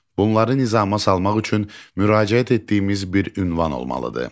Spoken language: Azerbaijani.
Bunu nizama salmaq üçün müraciət etdiyimiz bir ünvan olmalıdır.